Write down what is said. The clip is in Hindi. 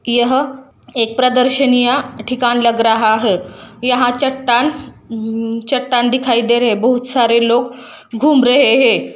यह एक प्रदशीनिय ठिकान लग रहा है यहाँ चट्टान चट्टान दिखाई दे रहे है बहोत सारे लोग घूम रहे है।